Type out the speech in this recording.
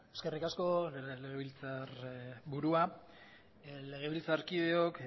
eskerrik asko legebiltzarburua legebiltzarkideok